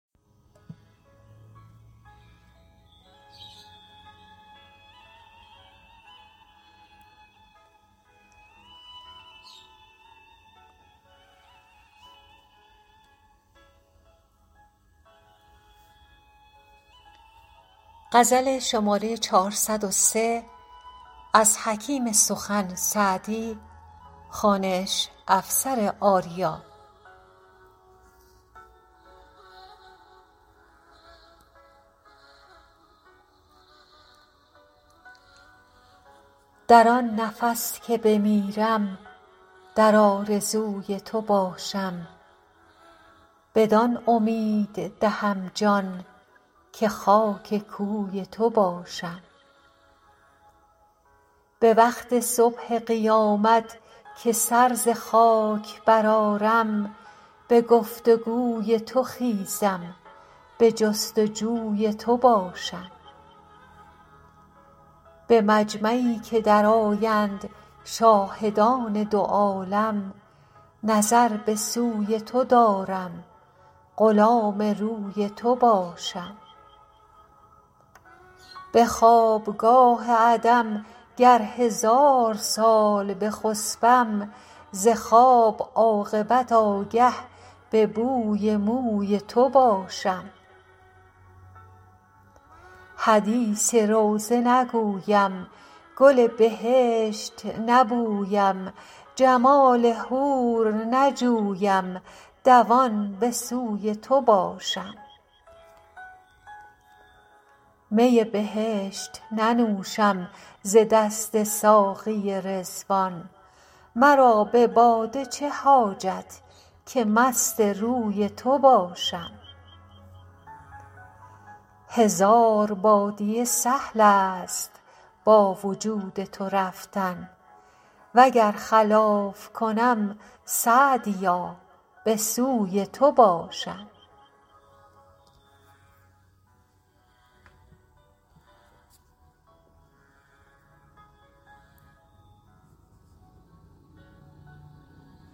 در آن نفس که بمیرم در آرزوی تو باشم بدان امید دهم جان که خاک کوی تو باشم به وقت صبح قیامت که سر ز خاک برآرم به گفت و گوی تو خیزم به جست و جوی تو باشم به مجمعی که درآیند شاهدان دو عالم نظر به سوی تو دارم غلام روی تو باشم به خوابگاه عدم گر هزار سال بخسبم ز خواب عاقبت آگه به بوی موی تو باشم حدیث روضه نگویم گل بهشت نبویم جمال حور نجویم دوان به سوی تو باشم می بهشت ننوشم ز دست ساقی رضوان مرا به باده چه حاجت که مست روی تو باشم هزار بادیه سهل است با وجود تو رفتن و گر خلاف کنم سعدیا به سوی تو باشم